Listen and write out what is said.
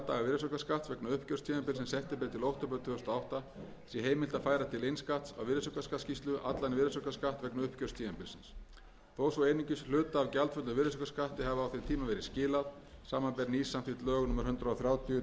virðisaukaskatts vegna uppgjörstímabilsins september til október tvö þúsund og átta sé heimilt að færa til innskatts á virðisaukaskattsskýrslu allan virðisaukaskatt vegna uppgjörstímabilsins þó svo einungis hluta af gjaldföllnum virðisaukaskatti hafi á þeim tíma verið skilað samanber nýsamþykkt lög númer hundrað þrjátíu tvö þúsund og átta um breytingu á tollalögum með þessari